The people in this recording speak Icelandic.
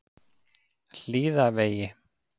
Hlíðavegi